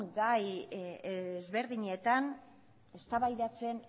gai ezberdinak eztabaidatzen